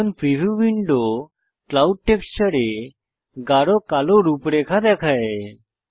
এখন preview window clouds টেক্সচারে গাঢ় কালো রূপরেখা দেখায়